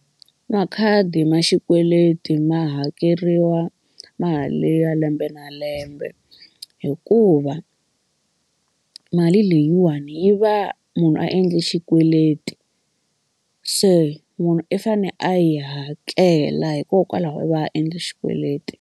Makhadi ma xikweleti ma hakeriwa mali ya lembe na lembe hikuva mali leyiwani yi va munhu a endle xikweleti se munhu i fane a yi hakela hikokwalaho va endla xikweleti.